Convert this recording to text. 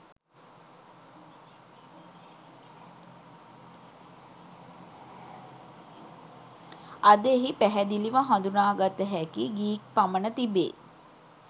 අද එහි පැහදිලිව හඳුනාගත හැකි ගීක් පමණ තිබේ